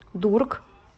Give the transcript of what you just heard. дург